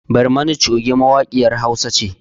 Barmani coge mawaƙiyar hausa ce